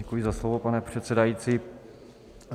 Děkuji za slovo, pane předsedající.